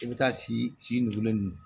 I bɛ taa si nugulenin